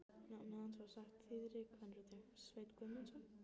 Nafnið hans var sagt þýðri kvenrödd: Sveinn Guðmundsson?